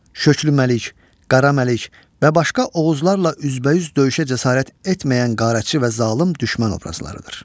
Şöklü Məlik, Qara Məlik və başqa Oğuzlarla üz-bə-üz döyüşə cəsarət etməyən qərəzçi və zalım düşmən obrazlarıdır.